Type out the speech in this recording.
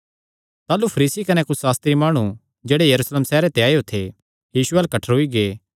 ताह़लू फरीसी कने कुच्छ सास्त्री माणु जेह्ड़े यरूशलेम सैहरे ते आएयो थे यीशु अल्ल कठ्ठरोई गै